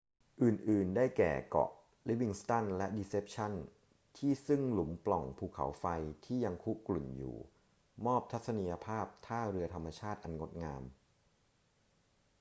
อื่น ๆ ได้แก่ เกาะ livingston และ deception ที่ซึ่งหลุมปล่องภูเขาไฟที่ยังคุกรุ่นอยู่มอบทัศนียภาพท่าเรือธรรมชาติอันงดงาม